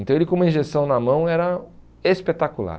Então ele com uma injeção na mão era espetacular.